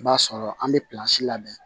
I b'a sɔrɔ an bɛ labɛn